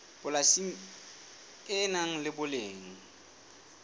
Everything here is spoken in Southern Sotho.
polasi le nang le boleng